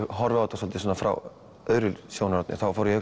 horfi á þetta svolítið svona frá öðru sjónarhorni þá fór ég